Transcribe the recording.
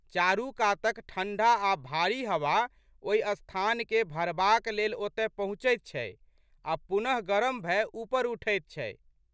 चारू कातक ठंढा आ' भारी हवा ओहि स्थानकेँ भरबाक लेल ओतए पहुँचैत छै आ' पुनः गरम भए ऊपर उठैत छै।